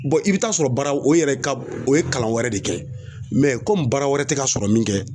i bɛ taa sɔrɔ baara o yɛrɛ ka o ye kalan wɛrɛ de kɛ komi baara wɛrɛ tɛ ka sɔrɔ min kɛ